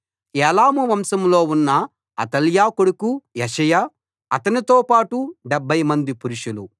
ఏలాము వంశంలో ఉన్న అతల్యా కొడుకు యెషయా అతనితో పాటు 70 మంది పురుషులు